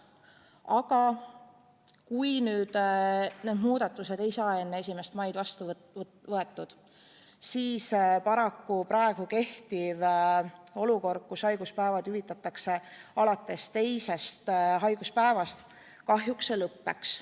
Aga kui need muudatused ei saa enne 1. maid vastu võetud, siis paraku praegu kehtiv olukord, et haiguspäevi hüvitatakse alates teisest haiguspäevast, kahjuks lõppeb.